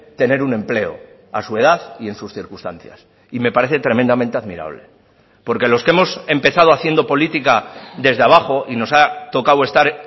tener un empleo a su edad y en sus circunstancias y me parece tremendamente admirable porque los que hemos empezado haciendo política desde abajo y nos ha tocado estar